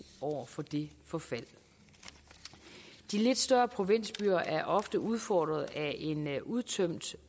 over for det forfald de lidt større provinsbyer er ofte udfordret af en udtømt